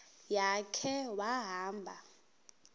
ya khe wahamba